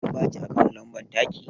An baki akawu lambar taki?